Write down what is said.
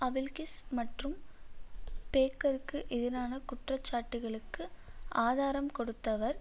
அவில்க்கிஸ் மற்றும் பேக்கருக்கு எதிரான குற்ற சாட்டுக்களுக்கு ஆதராம் கொடுத்தவர்